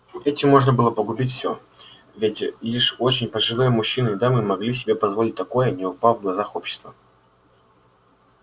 этим можно было погубить всё ведь лишь очень пожилые мужчины и дамы могли себе позволить такое не упав в глазах общества